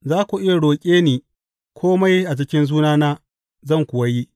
Za ku iya roƙe ni kome a cikin sunana, zan kuwa yi.